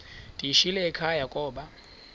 ndiyishiyile ekhaya koba